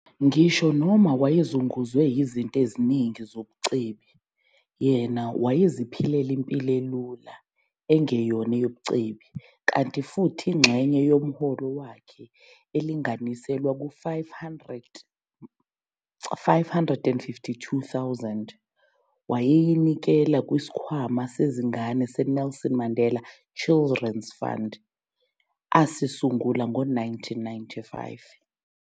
Ngisho noma wayezunguzwe yizinto eziningi zobucebi, yena wayeziphilela impilo elula engeyona eyobucebi, kanti futhi ingxenye yomholo wakhe elinganiselwa ku-R552,000 wayeyinikela kwisikhwama sezingane se-Nelson Mandela Children's Fund, asisungula ngo-1995.